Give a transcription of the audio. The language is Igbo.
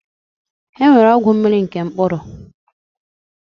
E nwere ọgwụ mmiri na nke mkpụrụ.